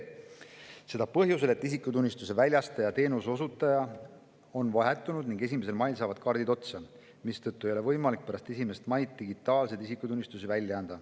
Seda põhjusel, et isikutunnistuste väljastamise teenuse osutaja on vahetunud ning 1. mail saavad kaardid otsa, mistõttu ei ole võimalik pärast 1. maid digitaalseid isikutunnistusi välja anda.